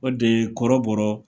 O de kɔrɔbɔrɔ